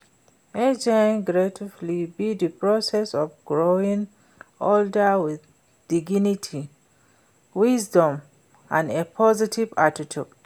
Aging gracefully be di process of growing older with dignity, wisdom and a positive attitude.